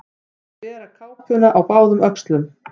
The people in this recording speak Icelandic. Að bera kápuna á báðum öxlum